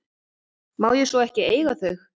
Má ég svo ekki eiga þau?